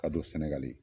A don sɛnɛgali